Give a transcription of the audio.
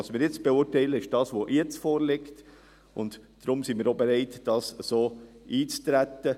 Was wir jetzt beurteilen, ist das, was jetzt vorliegt, und deshalb sind wir auch bereit, so darauf einzutreten.